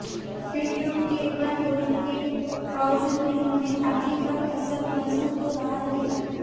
खिडकियों के बंद होने के बावजूद भी हमें आंधी का असर महसूस हो रहा है